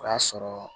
O y'a sɔrɔ